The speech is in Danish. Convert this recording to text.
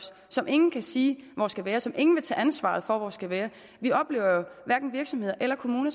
som ingen kan sige hvor skal være som ingen vil tage ansvaret for hvor skal være vi oplever jo at hverken virksomheder eller kommuner